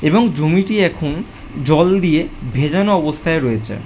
এবং জমিটি একটি জল দিয়ে ভেজানো অবস্থায় রয়েছে।